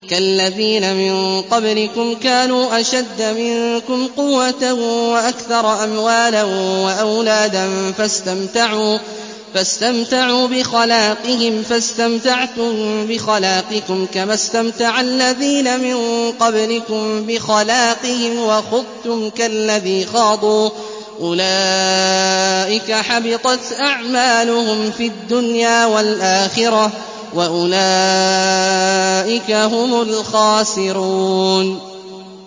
كَالَّذِينَ مِن قَبْلِكُمْ كَانُوا أَشَدَّ مِنكُمْ قُوَّةً وَأَكْثَرَ أَمْوَالًا وَأَوْلَادًا فَاسْتَمْتَعُوا بِخَلَاقِهِمْ فَاسْتَمْتَعْتُم بِخَلَاقِكُمْ كَمَا اسْتَمْتَعَ الَّذِينَ مِن قَبْلِكُم بِخَلَاقِهِمْ وَخُضْتُمْ كَالَّذِي خَاضُوا ۚ أُولَٰئِكَ حَبِطَتْ أَعْمَالُهُمْ فِي الدُّنْيَا وَالْآخِرَةِ ۖ وَأُولَٰئِكَ هُمُ الْخَاسِرُونَ